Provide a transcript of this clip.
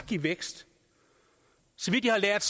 give vækst så vidt jeg har lært